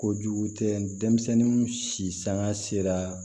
Kojugu tɛ denmisɛnnin si sanga sera